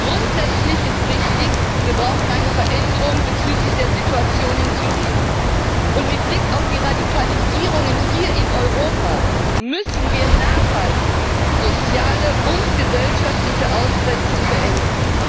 Grundsätzlich ist richtig Wir brauchen eine Veränderung bezüglich der Situation in Syrien, und mit Blick auf die Radikalisierungen hier in Europa müssen wir nachhaltig soziale und gesellschaftliche Ausgrenzung beenden.